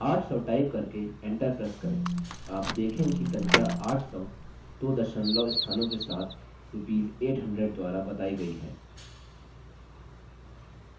800 type करके enter press करें आप देखेंगे कि संख्या 800 दो दशमलव स्थानों के साथ rupees 800 द्वारा बताई गई है